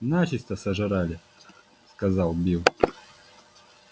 начисто сожрали сказал билл